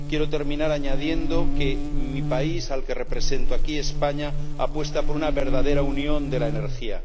Quiero terminar añadiendo que mi país, al que represento aquí, España, apuesta por una verdadera Unión de la Energía.